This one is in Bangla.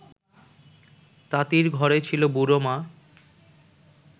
তাঁতির ঘরে ছিল বুড়ো মা